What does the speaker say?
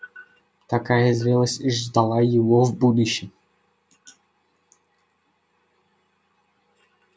такая зрелость ждала его в будущем